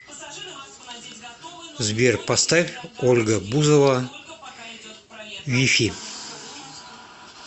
сбер поставь ольга бузова вифи